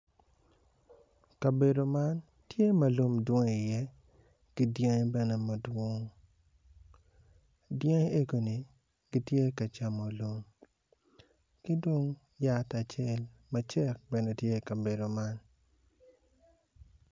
Kabedo man tye ma lum dwong i ye kidyangi bene madwong, diyangi egoni gitye kacamo lum kidong yat acel bene tye kabedo man.